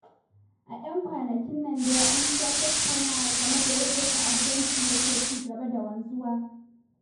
A 'yan kwanakin nan dai, an sha tattaunawa game da yadda ta'addanci yake ci gaba da wanzuwa.